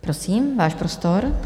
Prosím, váš prostor.